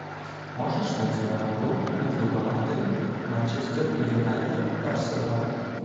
можешь найти нам игру между командами манчестер юнайтед арсенал